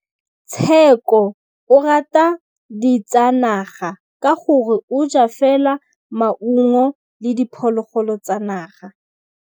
Tshekô o rata ditsanaga ka gore o ja fela maungo le diphologolo tsa naga.